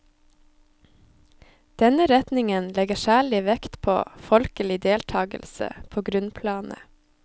Denne retningen legger særlig vekt på folkelig deltagelse på grunnplanet.